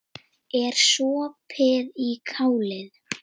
Ekki sopið í kálið.